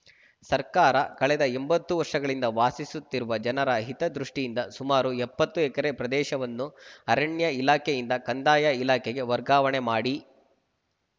ಸರ್ಕಾರ ಕಳೆದ ಎಂಬತ್ತು ವರ್ಷಗಳಿಂದ ವಾಸಿಸುತ್ತಿರುವ ಜನರ ಹಿತದೃಷ್ಟಿಯಿಂದ ಸುಮಾರು ಎಪ್ಪತ್ತು ಎಕರೆ ಪ್ರದೇಶವನ್ನು ಅರಣ್ಯ ಇಲಾಖೆಯಿಂದ ಕಂದಾಯ ಇಲಾಖೆಗೆ ವರ್ಗಾವಣೆ ಮಾಡಿ